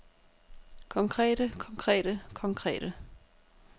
konkrete konkrete konkrete